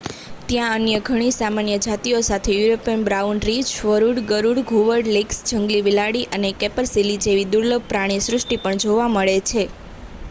ત્યાં અન્ય ઘણી સામાન્ય જાતિઓ સાથે યુરોપિયન બ્રાઉન રીંછ વરુ ગરુડ ઘુવડ લિંક્સ જંગલી બિલાડી અને કેપરસીલી જેવી દુર્લભ પ્રાણીસૃષ્ટિ પણ જોવા મળે છે